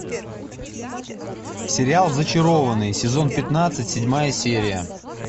сериал зачарованные сезон пятнадцать седьмая серия